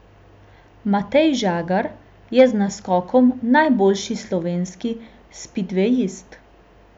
Matej Žagar je z naskokom najboljši slovenski spidvejist.